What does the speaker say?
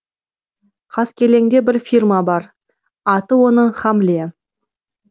қаскелеңде бір фирма бар аты оның хамле